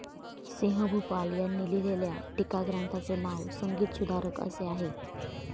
सिंहभूपाल यांनी लिहिलेल्या टीकाग्रंथाचे नाव संगीतसुधारक असे आहे.